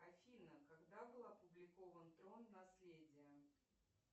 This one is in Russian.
афина когда был опубликован трон наследие